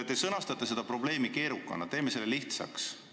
Teie sõnastuses on see probleem keerukas, teeme selle lihtsaks.